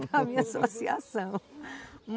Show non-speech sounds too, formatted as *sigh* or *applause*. *laughs* É a minha associação.